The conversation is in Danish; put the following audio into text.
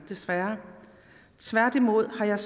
tværtimod har jeg